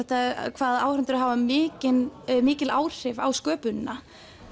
hvað áhorfendurnir hafa mikil mikil áhrif á sköpunina